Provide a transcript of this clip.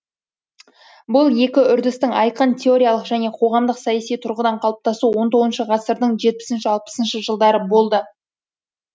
бұл екі үрдістің айқын теориялық және қоғамдық саяси тұрғыда қалыптасуы он тығызыншы ғасырдың жетпісінші алпысыншы жылдары болды